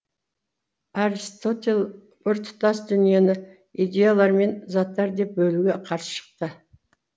аристотель біртұтас дүниені идеялар мен заттар деп бөлуге қарсы шықты